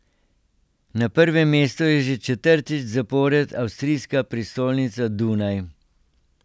Na prvem mestu je že četrtič zapored avstrijska prestolnica Dunaj.